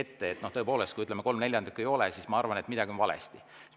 Tõepoolest, kui kolm neljandikku ei ole, siis ma arvan, et midagi on valesti.